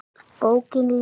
Bókin lifir!